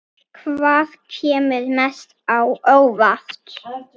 Hvaða kemur mest á óvart?